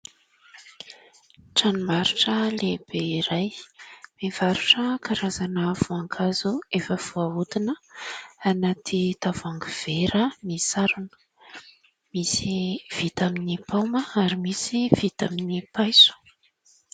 Tranom-barotra lehibe iray mivarotra karazana voankazo efa voahodina anaty tavoahangy vera misarona, misy vita amin'ny paoma ary misy vita amin'ny paiso.